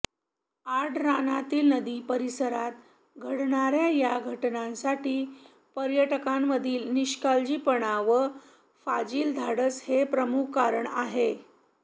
आडरानातील नदी परिसरात घडणाऱया या घटनांसाठी पर्यटकांमधील निष्काळजीपणा व फाजील धाडस हे प्रमुख कारण आहे